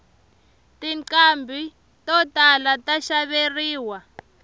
tinqhambi to tala ta xaveriwa